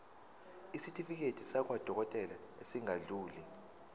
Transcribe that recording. isitifiketi sakwadokodela esingadluli